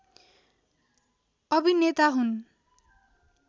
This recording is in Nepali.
अभिनेता हुन्